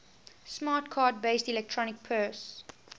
smart card based electronic purse